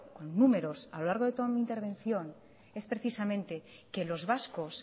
con números a lo largo de toda mi intervención es precisamente que los vascos